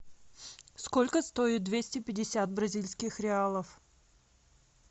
сколько стоит двести пятьдесят бразильских реалов